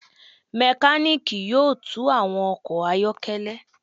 A mekaniki yoo tun awọn ọkọ ayọkẹlẹ